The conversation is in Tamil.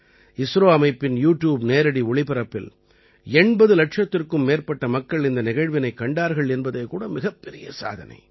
இஸ்ரோ அமைப்பின் யூ ட்யூப் நேரடி ஒளிபரப்பில் 80 இலட்சத்திற்கும் மேற்பட்ட மக்கள் இந்த நிகழ்வினைக் கண்டார்கள் என்பதே கூட மிகப்பெரிய சாதனை